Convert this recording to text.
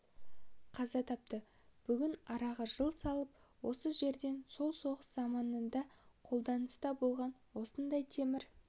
қаза тапты бүгін араға жыл салып осы жерден сол соғыс заманында қолданыста болған осындай темір